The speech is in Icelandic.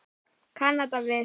Kanada við.